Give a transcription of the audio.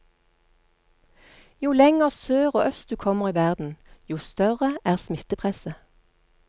Jo lenger sør og øst du kommer i verden, jo større er smittepresset.